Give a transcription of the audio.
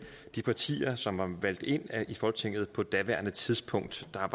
de partier som var valgt ind i folketinget på daværende tidspunkt der